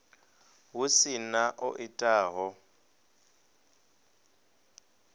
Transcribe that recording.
hu si na o itaho